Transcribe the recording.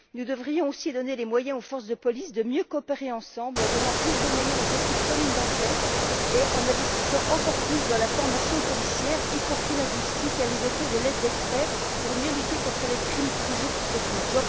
Nous devrions aussi permettre aux forces de police de mieux coopérer en donnant plus de moyens aux équipes communes d'enquête et en investissant encore plus dans la formation policière, y compris linguistique et les doter de l'aide d'experts pour mieux lutter contre des crimes toujours plus techniques.